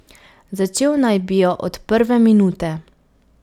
Začel naj bi jo od prve minute.